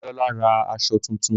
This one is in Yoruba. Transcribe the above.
Dámilọ́lá ra aṣọ tuntun